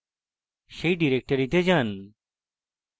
সেই ডিরেক্টরিতে যাই